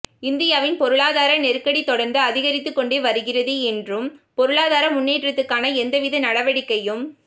இந்தியாவின் பொருளாதார நெருக்கடி தொடா்ந்து அதிகரித்து கொண்டே வருகிறது என்றும் பொருளாதார முன்னேற்றத்துக்கான எந்தவித நடவடிக்கையும்